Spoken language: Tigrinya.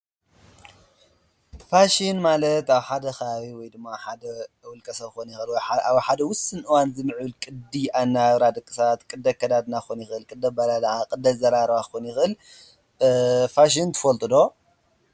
ፋሽን ማለት ኣብ ሓደ ከባቢ ወይ ድማ ሓደ ውልቀ ሰብ ክኾን ይኽእል። ኣብ ሓደ ውስን እዋን ዝኒ ቅዲ ኣነባብራ ድቂ ሰባት ቅዲ ኣከዳድና ክኾን ይኽእል፣ ቅዲ ኣበላልዓ፣ ቅዲ ኣዘራርባ ክኽን ይኽእል። ፋሽን ትፈልጥ ዶ?